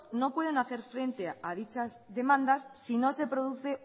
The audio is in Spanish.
no pueden hacer frente a dichas demanda si no se produce